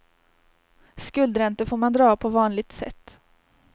Skuldräntor får man dra av på vanligt sätt.